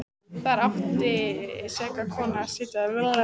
Þar átti seka konan að sitja þennan dag.